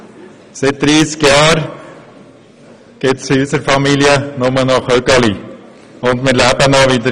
Seit 30 Jahren gibt es in unserer Familie nur noch «Chügeli» – und wie Sie sehen, leben wir noch.